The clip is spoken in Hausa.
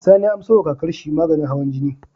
Sani ya anso wa kakar shi maganin hawan jini